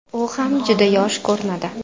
U ham juda yosh ko‘rinadi.